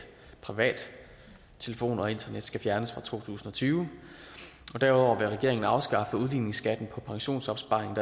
privat telefon og internet skal fjernes fra to tusind og tyve og derudover vil regeringen afskaffe udligningsskatten på pensionsopsparing